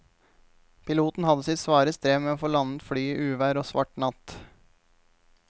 Piloten hadde sitt svare strev med å få landet flyet i uvær og svart natt.